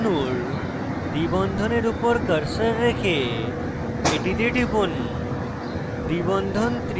ethene অণুর দ্বি বন্ধনের উপর cursor রেখে এটিতে টিপুন